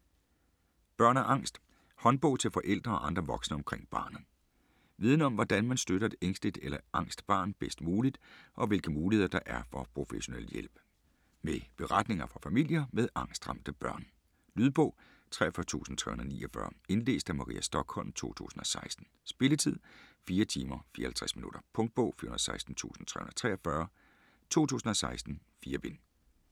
Børn og angst: håndbog til forældre og andre voksne omkring barnet Viden om hvordan man støtter et ængsteligt eller angst barn bedst muligt og hvilke muligheder der er for professionel hjælp. Med beretninger fra familier med angstramte børn. Lydbog 43349 Indlæst af Maria Stokholm, 2016. Spilletid: 4 timer, 54 minutter. Punktbog 416343 2016. 4 bind.